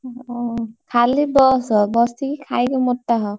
ଓହୋ ଖାଲି ବସ। ବସିକି ଖାଇକି ମୋଟା ହ।